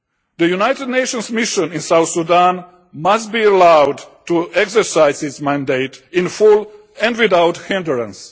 The United Nations mission in South Sudan must be allowed to exercise its mandate in full, and without hindrance.